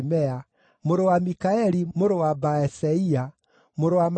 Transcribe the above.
mũrũ wa Mikaeli, mũrũ wa Baaseia, mũrũ wa Malikija